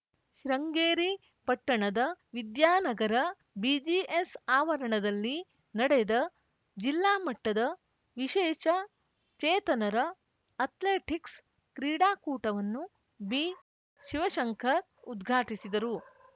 ಶೃಂಗೇರಿ ಪಟ್ಟಣದ ವಿದ್ಯಾನಗರ ಬಿಜಿಎಸ್‌ ಆವರಣದಲ್ಲಿ ನಡೆದ ಜಿಲ್ಲಾಮಟ್ಟದ ವಿಶೇಷಚೇತನರ ಅಥ್ಲೆಟಿಕ್ಸ್‌ ಕ್ರೀಡಾಕೂಟವನ್ನು ಬಿಶಿವಶಂಕರ್‌ ಉದ್ಘಾಟಿಸಿದರು